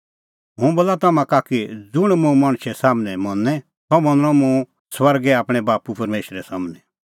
हुंह बोला तम्हां का कि ज़ुंण मुंह मणछे सम्हनै मनें सह मनणअ मुंह स्वर्गै आपणैं बाप्पू परमेशरे सम्हनै